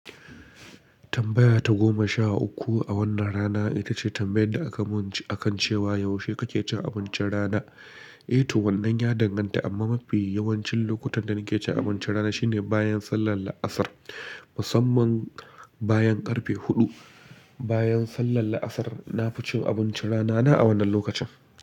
Tambaya ta goma sha uku a wannan rana ita ce tambayar da aka mun akan cewa "Yaushe kake cin abincin rana?" Eh to, wannan ya danganta amma mafi yawancin lokutan da nake cin abincin rana shine bayan sallar la'asar, musamman bayan karfe huɗu. Bayan sallar la'asar, na fi cin abincin rana na a wannan lokacin.